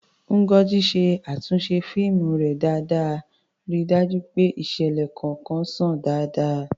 Ngozi ṣe àtúnṣe fíìmù rẹ̀ dáadáa, ríi dájú pé ìṣẹ̀lẹ̀ kọ̀ọ̀kan ṣàn dáadáa.